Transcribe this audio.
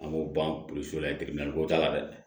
An b'o ban la ko t'a la dɛ